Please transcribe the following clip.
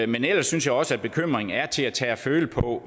men ellers synes jeg også at bekymringen er til at tage at føle på